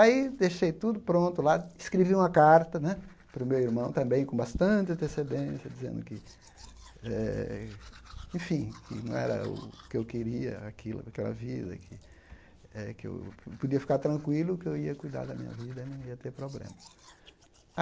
Aí deixei tudo pronto lá, escrevi uma carta né para o meu irmão também, com bastante antecedência, dizendo que eh, enfim, que não era o que eu queria, aquilo aquela vida, que eh eu podia ficar tranquilo, que eu ia cuidar da minha vida e não ia ter problema.